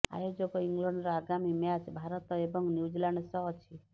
ଆୟୋଜକ ଇଂଲଣ୍ଡର ଆଗାମୀ ମ୍ୟାଚ୍ ଭାରତ ଏବଂ ନ୍ୟୁଜିଲାଣ୍ଡ ସହ ଅଛି